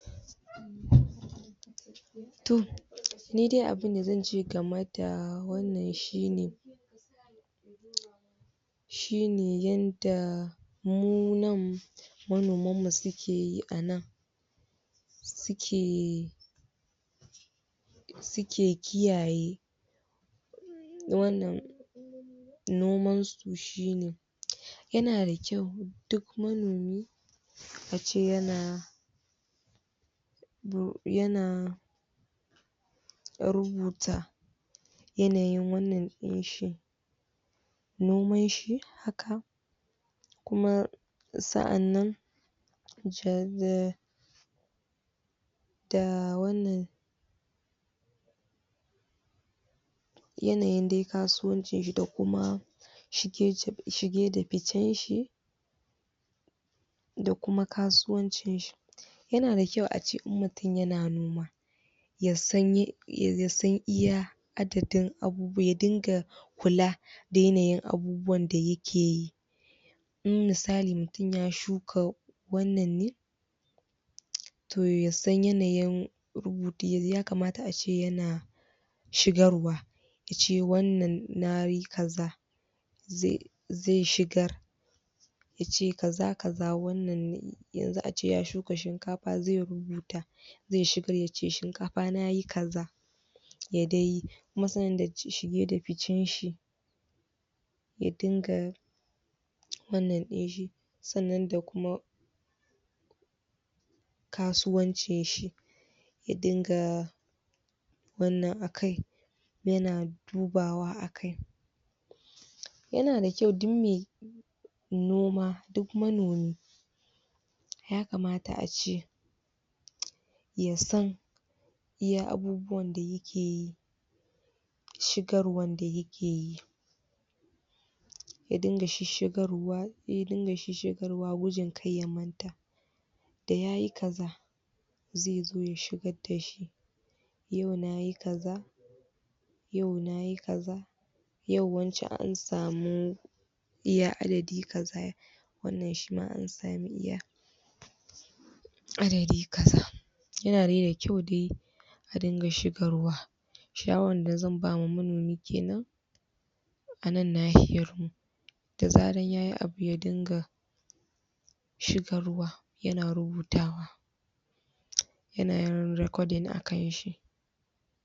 Toh ni dai abun da zan ce game da wannan shi ne, shine yan daa mu nan manoman mu su keyi anan, suke suke kiyaye wannan noman su shi ne yana da kyau manoni ace yana yana rubuta yanayin wannan din shi noman shi haka kuma sa'anan zai da wanan yanayin dai kasuwancin shi da kuma shige ci shige da ficcen shi da kuma kasuwancin shi. Yana da kyau ace in mutun yana noma ya san yan ye ya san iya adadin abu ya dinga kula da yanayin abubuwan da yake yi in misali mutun ya shuka wannan ne to ya san yanayin ya kamata ace ana shigarwa ya ce wannan nayi kaza zai zai shigar yace kaza kaza wannan ne yanzu ace ya shuka shinkafa zai rubuta zai shiga yace shinkafa na yi kaza ya dai masana dake shige da ficcen shi ya dinga wannan ɗin shi sanan da kuma kasuwancin shi ya dingaa wannan akai yana dubawa dubawa akai yana da kyau duk mai noma duk manomi ya kamata ace ya san iya abubuwan dayayi ke yi shigarwan da yake yi, ya dinga shi shigarwa filin da shi garwa wujin kar ya manta da yayi kaza zai zo ya shigar da shi yau nayi kaza, yau nayi kaza, yau wance an samu iya adadi kaza, wannan shi ma an sami iya adadi kaza. Yana dai da kyau dai a dinga shigarwa, shawaran da zan bama manomi kanan anan nahiyar mu da zaran yayi abu ya dinga shigarwa yana rubutawa yana yin recording a kan shi